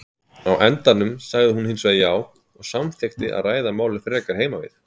Á endanum sagði hún hinsvegar já og samþykkti að ræða málin frekar heima við.